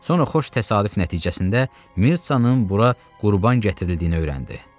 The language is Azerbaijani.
Sonra xoş təsadüf nəticəsində Mirtzənin bura qurban gətirildiyini öyrəndi.